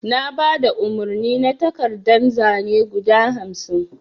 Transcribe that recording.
Na baɗa umarni na takardan zane guɗa hamsin.